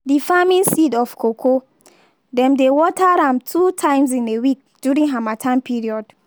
d farming seed of cocoa. dem dey water am two times in a week during harmattan period.